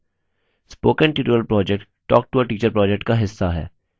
spoken tutorial project talktoateacher project का हिस्सा है